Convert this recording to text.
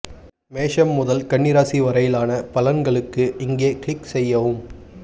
மேஷம் முதல் கன்னி ராசி வரையிலான பலன்களுக்கு இங்கே க்ளிக் செய்யவும்